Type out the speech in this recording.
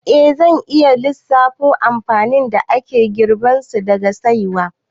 Eh, zan iya lissafo amfanin da ake girbansu daga saiwa